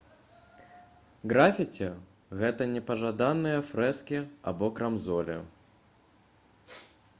графіці гэта непажаданыя фрэскі або крамзолі